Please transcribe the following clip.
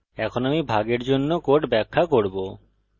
এখন আমি ভাগের জন্য code ব্যাখ্যা করব